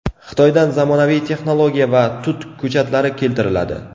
Xitoydan zamonaviy texnologiya va tut ko‘chatlari keltiriladi.